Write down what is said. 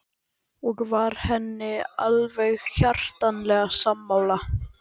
Og var henni alveg hjartanlega sammála.